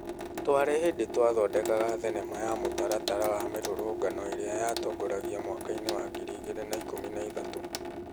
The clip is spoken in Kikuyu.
Twarĩ hĩndĩ Twathondekaga thenema ya mũtaratara wa mĩrũrũngano ĩrĩa atongoragia mwaka-inĩ wa 2013.